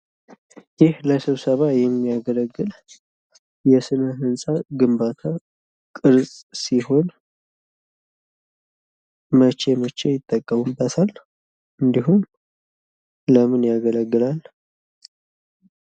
ይህ ለስብሰባ የሚያገለግል የስነ ህንጻ ግምባታ ቅርጽ ሲሆን መቼ መቼ ይጠቀሙበታል? እንዲሁም ለምን ያገለግላል?